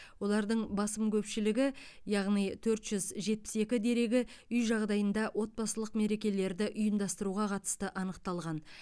олардың басым көпшілігі яғни төрт жүз жетпіс екі дерегі үй жағдайында отбасылық мерекелерді ұйымдастыруға қатысты анықталған